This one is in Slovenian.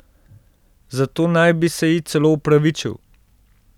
Za to naj bi se ji celo opravičil.